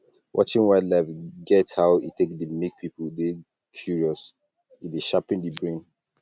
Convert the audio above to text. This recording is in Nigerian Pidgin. watching wild life get how e take dey make pipo dey curious e dey sharpen di brain